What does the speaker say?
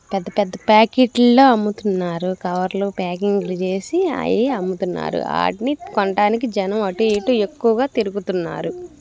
పెద్ధ పెద్ద ప్యాకెట్ లో అమ్ముతున్నారు. కవర్లో ప్యాకింగ్ లు చేసి అయి అమ్ముతున్నారు. ఆటిని కొనటానికి జనం అటు ఇటు తిరుగుతున్నారు.